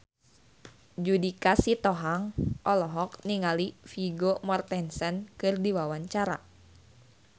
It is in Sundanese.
Judika Sitohang olohok ningali Vigo Mortensen keur diwawancara